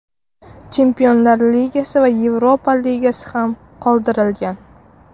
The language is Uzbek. Chempionlar Ligasi va Yevropa Ligasi ham qoldirilgan.